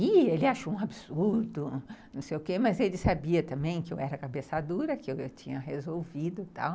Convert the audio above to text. E ele achou um absurdo, não sei o quê, mas ele sabia também que eu era cabeçadura, que eu tinha resolvido e tal.